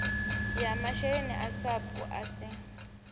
ya masheleni a sapu asi